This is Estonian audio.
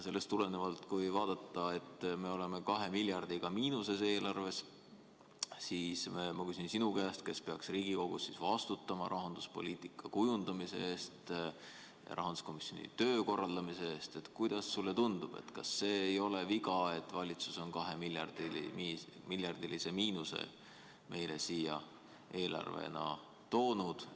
Sellest tulenevalt, kui vaadata, et me oleme eelarvega 2 miljardiga miinuses, siis ma küsin sinult, kes sa peaks Riigikogus vastutama rahanduspoliitika kujundamise ja rahanduskomisjoni töö korraldamise eest, et kuidas sulle tundub, kas see ei ole viga, et valitsus on kahemiljardilise miinusega eelarve meile siia toonud?